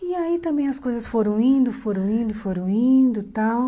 E aí também as coisas foram indo, foram indo, foram indo e tal.